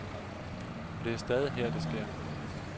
Og det er stadig her det sker.